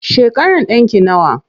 Shekaran ɗanki nawa?